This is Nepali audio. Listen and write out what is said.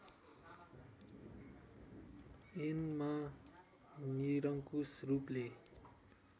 ऐनमा निरङ्कुश रूपले